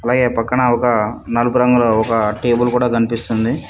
పై ఈ పక్కన ఒక నలుపు రంగులో ఒక టేబుల్ కూడా కనిపిస్తుంది.